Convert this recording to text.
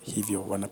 hivyo huwa na.